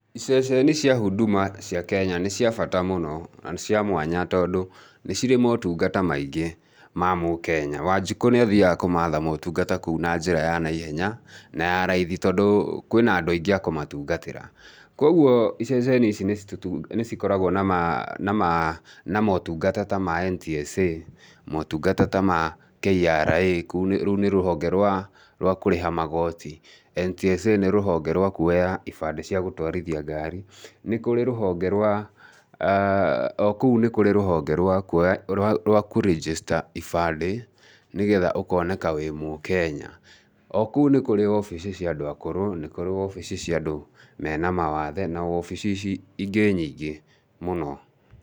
Ceceni cia Huduma cia Kenya nĩ cia bata mũno, na nĩ cia mwana tondũ nĩ cirĩ motungata maingĩ ma mũkenya. Wanjikũ niathiaga kũmatha motungata kou na njĩra ya na ihenya na ya raithi tondũ kwĩ na andũ aingĩ a kũmatungatĩra. Koguo ceceni ici nĩ cikoragwo na ma , na ma, na motungata ta ma NTSA, motungata ta ma KRA, rũu nĩ rũhonge rwa kũrĩha magooti. NTSA nĩ rũhonge rwa kuoya ibandĩ cia gũtwarithia ngari. Nĩ kũrĩ rũhonge rwa kũu nĩ kũrĩ rũhonge rwa kũ register ibandĩ nĩgetha ũkoneka wĩ mũkenya. O kũu nĩ kũrĩ obici cia andũ akũrũ, nĩ kũrĩ obici cia andũ mena mawathe na obici ingĩ nyingĩ mũno.